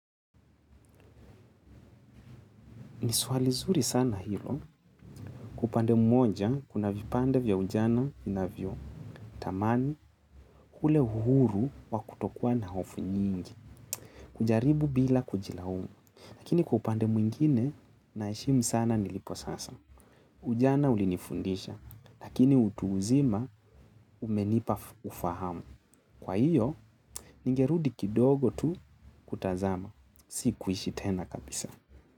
Ni suali zuri sana hilo. Upande mmoja, kuna vipande vya ujana inavyo. Tamani ule huru wa kutokua na hofu nyingi. Kujaribu bila kujilaumu. Lakini kwa upande mwingine, naheshimu sana nilipo sasa. Ujana ulinifundisha, lakini utu uzima umenipa ufahamu. Kwa hiyo, ningerudi kidogo tu kutazama. Si kuishi tena kabisa.